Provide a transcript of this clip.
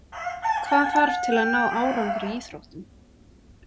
Hvað þarf til að ná árangri í íþróttum?